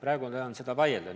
Nüüd enam selle üle ei vaielda.